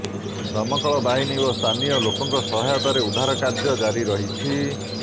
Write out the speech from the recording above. ଦମକଳ ବାହିନୀ ଓ ସ୍ଥାନୀୟ ଲୋକଙ୍କ ସହାୟତାରେ ଉଦ୍ଧାର କାର୍ଯ୍ୟ ଜାରି ରହିଛି